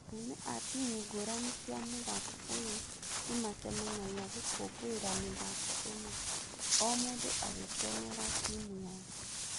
Arũme a timu ngũrani cia mũthako ũyũ nĩmacemanagia gũkũngũĩra miĩthako ĩno, o mũndũ agĩkenera timu yake.